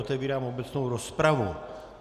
Otevírám obecnou rozpravu.